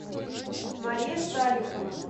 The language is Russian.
мария салихова